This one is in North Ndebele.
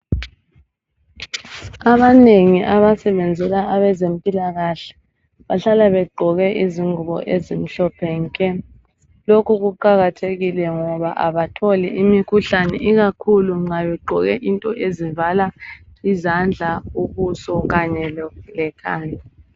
Abanengi abasebenzela abezempilakahle bahlala begqoke izingubo ezimhlophe nke. Lokhu kuqakathekile ngoba abatholi imikhuhlane, ikakhulu nxa begqoke into ezivala izandla, ubuso, kanye lekhanda